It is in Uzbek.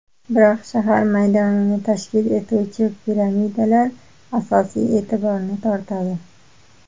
Biroq shahar maydonini tashkil etuvchi piramidalar asosiy e’tiborni tortadi.